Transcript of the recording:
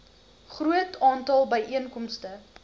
groot aantal byeenkomste